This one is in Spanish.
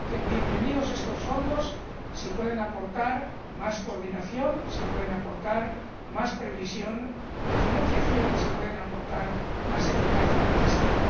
bienvenidos sean estos fondos si pueden aportar más coordinación, si pueden aportar más previsión en la financiación y si pueden aportar más eficacia en la gestión.